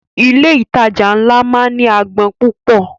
Ilé ìtajà ńlá máa ń ní agbọn púpọ̀.